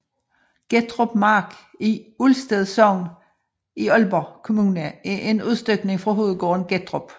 Gettrup Mark i Ulsted Sogn i Aalborg Kommune er en udstykning fra hovedgården Gettrup